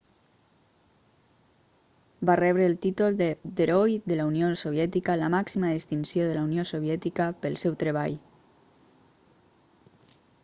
va rebre el títol d'"heroi de la unió soviètica la màxima distinció de la unió soviètica pel seu treball